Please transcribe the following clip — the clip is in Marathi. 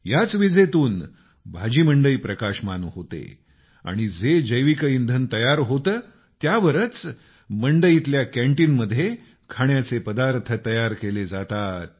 याच विजेतून भाजी मंडई प्रकाशमान होते आणि जे जैविक इंधन तयार होतं त्यावरच मंडईतल्या कँटिनमध्ये खाण्याचे पदार्थ तयार केले जातात